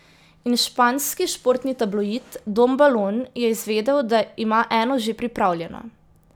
In španski športni tabloid Don Balon je izvedel, da ima eno že pripravljeno.